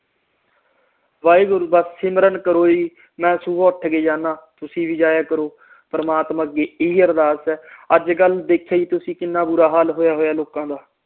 ਵਾਹਿਗੁਰੂ ਦਾ ਸਿਮਰਨ ਕਰੋ ਜੀ ਮੈਂ ਸੁਬਹ ਉੱਠ ਕੇ ਜਾਣਾ ਤੁਸੀ ਵੀ ਜਾਇਆ ਕਰੋ ਪ੍ਰਮਾਤਮਾ ਅੱਗੇ ਇਹੀ ਅਰਦਾਸ ਆ ਅਜਕਲ ਦੇਖਿਆ ਜੀ ਤੁਸੀ ਕਿੰਨਾ ਬੁਰਾ ਹਾਲ ਹੋਇਆ ਹੋਇਆ ਲੋਕਾਂ ਦਾ